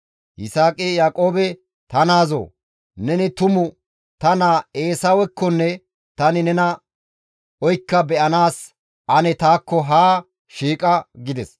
Yisaaqi Yaaqoobe, «Ta naazoo! Neni tumu ta naa Eesawekkonne tani nena oykka be7anaas ane taakko haa shiiqa» gides.